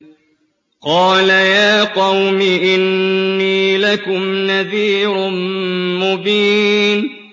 قَالَ يَا قَوْمِ إِنِّي لَكُمْ نَذِيرٌ مُّبِينٌ